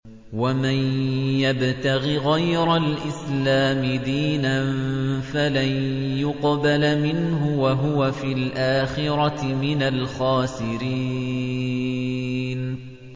وَمَن يَبْتَغِ غَيْرَ الْإِسْلَامِ دِينًا فَلَن يُقْبَلَ مِنْهُ وَهُوَ فِي الْآخِرَةِ مِنَ الْخَاسِرِينَ